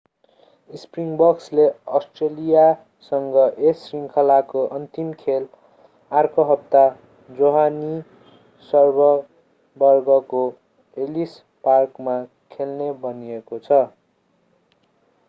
स्प्रिङबक्सले अष्ट्रेलियासँग यस श्रृङ्खलाको अन्तिम खेल अर्को हप्ता जोहानिसबर्गको एलिस पार्कमा खेल्ने भनिएको छ